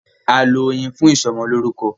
A lọ Oyin fún ìsọmọlórúkọ.